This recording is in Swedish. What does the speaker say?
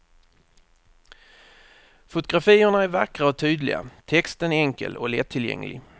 Fotografierna är vackra och tydliga, texten enkel och lättillgänglig.